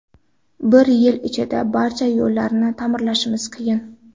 Bir yil ichida barcha yo‘llarni ta’mirlashimiz qiyin.